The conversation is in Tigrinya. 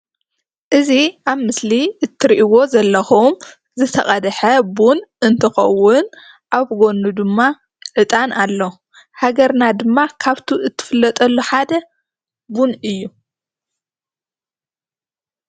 እዚ ኣብ ምስሊ እትሪእዎ ዘለኩም ዝተቀደሐ ቡን እንትኮውን ኣብ ጎኑ ድማ ዕጣን ኣሎ ሃገርና ድማ ካብቱ እትፍለጠሉ ሓደ ቡን እዩ።